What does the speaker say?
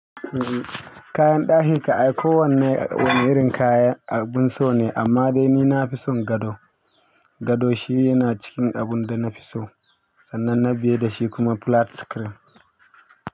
Kayan ɗaki ka, ai ko wanne wani irin kaya abun so ne amma dai ni na fi son gado. Gado shi yana cikin abun da na fi so sannan na biye da shi kuma flat screen.